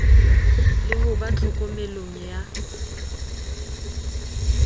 le ho ba tlhokomelong ya